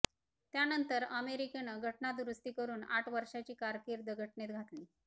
त्यानंतरच अमेरिकेनं घटनादुरुस्ती करून आठ वर्षाची कारकीर्द घटनेत घातली